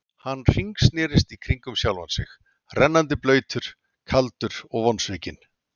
Hann hringsnerist í kringum sjálfan sig, rennandi blautur, kaldur og vonsvikinn.